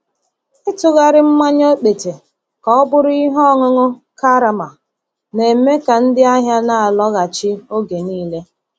Ịtụgharị mmanya okpete ka ọ bụrụ ihe ọṅụṅụ karama na-eme ka ndị ahịa na-alọghachi oge niile.